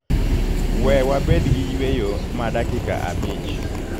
we wabed gi yweyo ma dakika abich